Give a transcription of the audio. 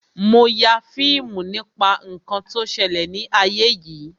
Mo ya fíìmù nípa ǹkan tó ṣẹlẹ̀ ni ayé yìí